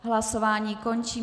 Hlasování končím.